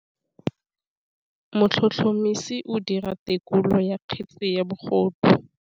Motlhotlhomisi o dira têkolô ya kgetse ya bogodu.